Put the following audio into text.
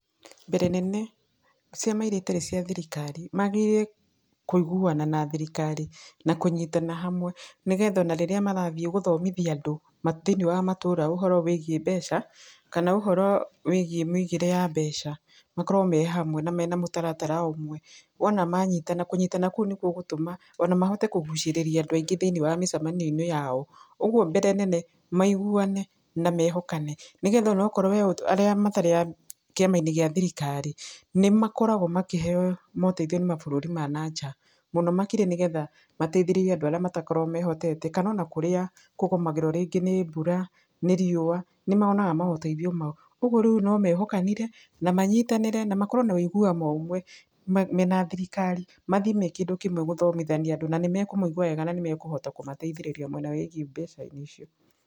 Mbere nene, ciama irĩa itarĩ cia thirikari, magĩrĩire kũiguana na thirikari, na kũnyitana hamwe, nĩgetha ona rĩrĩa marathiĩ gũthomithia andũ, thĩiniĩ wa matũra ũhoro wĩgĩi mbeca, kana ũhoro wĩgiĩ mũigĩre wa mbeca, makorwo mehamwe na mũtaratara ũmwe. Wona manyitana, kũnyitana kũu nĩgũgũtũma ona mahote kũgũcĩrĩria andũ aingĩ thĩinĩ wa mĩcemanio-inĩ yao. Ũguo mbere nene, maiguane, na mehokane, nĩgetha onakorwo arĩa matarĩ a kĩama-inĩ gĩa thirikari, nĩ makoragwo makĩheyo moteithio nĩ mabũrũri ma nanja, mũno makĩria nĩgetha mateithĩrĩrie andũ arĩa matakoragwo mehotete, mũno makĩria kũgũmagĩrwo kaingĩ nĩ mbura, nĩ riua, nĩmonaga maũteithio mau, ũguo rĩu nomehokanire, namanyitanĩre, namakorwo na ũiguano ũmwe, mena thirikari, mathiĩ me kĩndũ kĩmwe gũthomithania andũ, na nĩmekũmũigwa na mahote kũmateithĩrĩria mwena wĩgiĩ mbeca-inĩ icio.